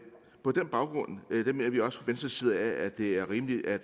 baggrund mener vi også venstres side at det er rimeligt at